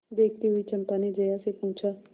देखती हुई चंपा ने जया से पूछा